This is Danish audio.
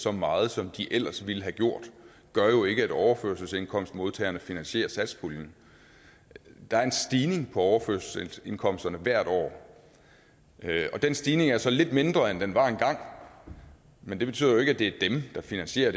så meget som de ellers ville have gjort gør jo ikke at overførselsindkomstmodtagerne finansierer satspuljen der er en stigning på overførselsindkomsterne hvert år og den stigning er så lidt mindre end den var engang men det betyder jo ikke at det er dem der finansierer